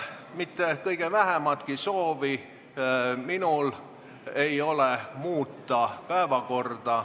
Mul ei ole kõige vähematki soovi päevakorda muuta.